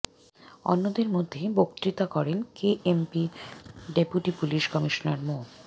অন্যদের মধ্যে বক্তৃতা করেন কেএমপির ডেপুটি পুলিশ কমিশনার মো